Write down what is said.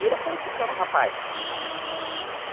E ele foi ficando rapaz.